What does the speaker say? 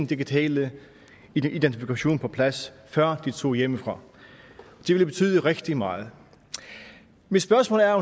digitale identifikation på plads før de tog hjemmefra det ville betyde rigtig meget mit spørgsmål er